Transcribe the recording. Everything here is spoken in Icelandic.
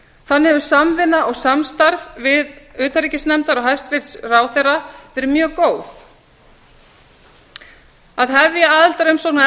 þannig hefur samvinna og samstarf utanríkismálanefndar og hæstvirts ráðherra verið mjög gott það að hefja aðildarumsókn að